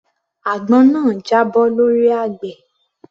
Àgbọn náà jábọ́ lọ́rí àgbẹ̀